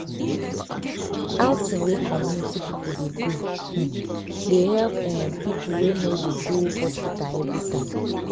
wait- outing wey community people dey go um they help um people wey no dey go hospital everytime.